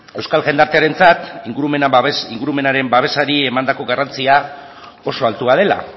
euskal jendartearentzat ingurumenaren babesari emandako garrantzia oso altua dela